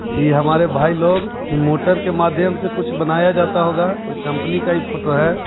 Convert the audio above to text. इ हमारे भाई लोग इ मोटर के माध्यम से कुछ बनाया जाता होगा कोई कपंनी का इ फोटो है।